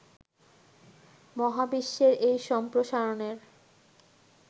মহাবিশ্বের এই সম্প্রসারণের